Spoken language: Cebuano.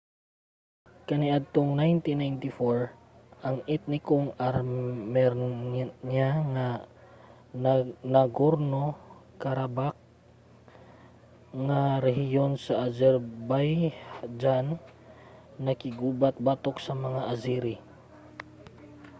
kaniadtong 1994 ang etnikong armernia nga nagorno-karabakh nga rehiyon sa azerbaijan nakiggubat batok sa mga azeri